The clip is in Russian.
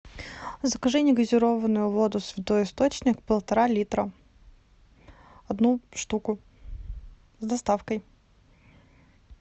закажи негазированную воду святой источник полтора литра одну штуку с доставкой